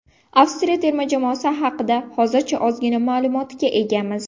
Avstriya terma jamoasi haqida hozircha ozgina ma’lumotga egamiz.